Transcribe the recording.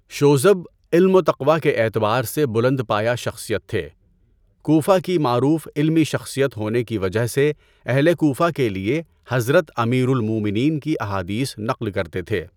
شوذب علم وتقویٰ کے اعتبار سے بلند پایہ شخصیت تھے۔ کوفہ کی معروف علمی شخصیت ہونے کی وجہ سے اہل کوفہ کے لئے حضرت امیر المومنین کی احادیث نقل کرتے تھے۔